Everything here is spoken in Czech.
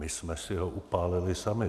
My jsme si ho upálili sami.